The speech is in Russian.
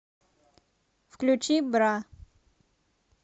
включи бра